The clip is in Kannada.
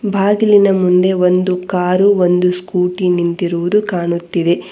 ಬಾಗಿಲಿನ ಮುಂದೆ ಒಂದು ಕಾರು ಒಂದು ಸ್ಕೂಟಿ ನಿಂತಿರುವುದು ಕಾಣುತ್ತಿದೆ.